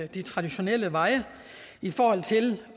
de traditionelle veje i forhold til